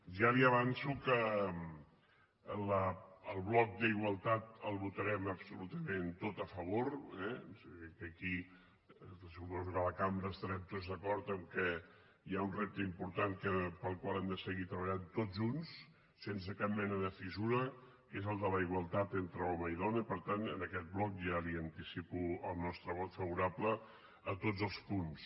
ja li avanço que el bloc d’igualtat el votarem absolutament tot a favor eh és a dir que aquí suposo que a la cambra estarem tots d’acord que hi ha un repte important pel qual hem de seguir treballant tots junts sense cap mena de fissura que és el de la igualtat entre home i dona i per tant en aquest bloc ja li anticipo el nostre vot favorable a tots els punts